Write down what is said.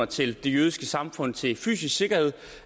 til det jødiske samfund til fysisk sikkerhed